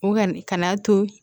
O ka na to